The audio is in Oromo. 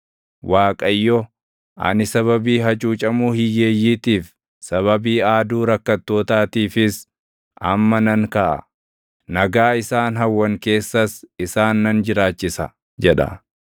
Waaqayyo, “Ani sababii hacuucamuu hiyyeeyyiitiif, sababii aaduu rakkattootaatiifis amma nan kaʼa. Nagaa isaan hawwan keessas isaan nan jiraachisa” jedha.